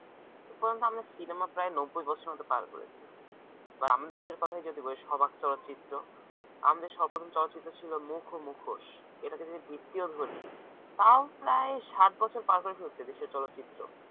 এ পর্যন্ত আমাদের সিনেমা প্রায় নব্বই বছর মত পার করেছে আমাদের দেশের কথাই যদি বলি সবাক চলচ্চিত্র আমাদের সর্বপ্রথম চলচ্চিত্র ছিল মুখ ও মুখোশ এটাকে যদি ভিত্তিও ধরি তাও প্রায় ষাট বছর পার করে ফেলেছে দেশের চলচ্চিত্র